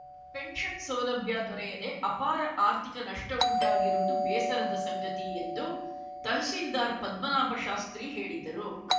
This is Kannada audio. ಪೆನ್ಷನ್‌ ಸೌಲಭ್ಯ ದೊರೆಯದೇ ಅಪಾರ ಆರ್ಥಿಕ ನಷ್ಟಉಂಟಾಗಿರುವುದು ಬೇಸರದ ಸಂಗತಿ ಎಂದು ತಹಶೀಲ್ದಾರ್‌ ಪದ್ಮನಾಭ ಶಾಸ್ತ್ರಿ ಹೇಳಿದರು